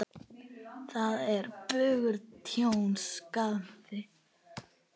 Þar er bugur tjón, skaði.